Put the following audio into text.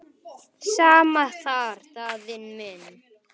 Sama þar Daðína mín.